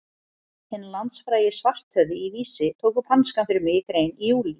Hinn landsfrægi Svarthöfði í Vísi tók upp hanskann fyrir mig í grein í júlí.